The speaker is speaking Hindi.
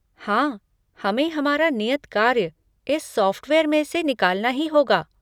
हाँ, हमें हमारा नियत कार्य इस सॉफ़्टवेयर में से निकालना ही होगा।